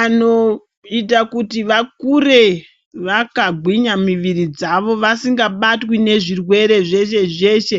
anoita kuti vakure vakagwinya muviri dzavo vasingabatwi nezvirwere zveshe zveshe